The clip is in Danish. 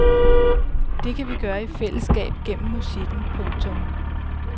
Det kan vi gøre i fællesskab gennem musikken. punktum